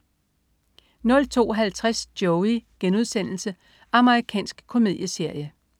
02.50 Joey.* Amerikansk komedieserie